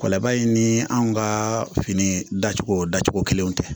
Kɔlabaa in ni anw ka fini dacogo dacogo kelenw tɛ